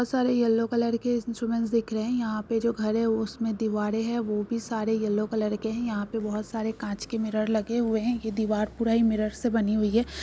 बहुत सारी yellow colour की इंस्ट्रूमेंट दिख रही है यहाँ पर जो घर है उसमे दिवार है यहाँ पे बहुत सारे कांच के मिरर लगे हुए है दीवार पूरा ही मिरर से बनी हुईं है।